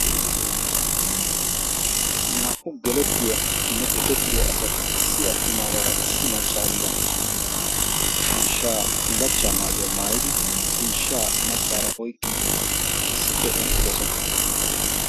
naa''u gelettiyaanne ekettiya asati issi attumaagaara issi maccaariira ciishshaa bullachcha maayuyaa maayidi ciishsha maccaara oyqqin issippe eqqidosona